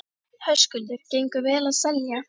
Höskuldur: Gengur vel að selja?